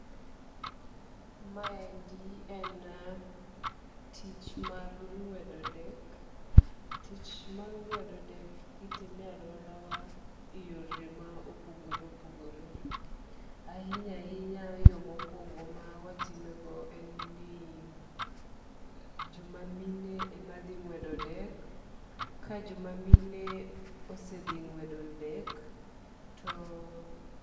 Ma endi en tich mar ng'wedo dek. Tich mar ng'wedo dek itime e aluora wa e yore ma opogore opogore. Ahinya ahinya, yo mokwongo ma watime go en ni joma mine ema dhi ng'wedo dek. Ka joma mine osedhi ng'wedo dek to.